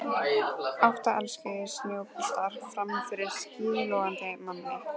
Átta elskulegir snjóboltar frammi fyrir skíðlogandi manni.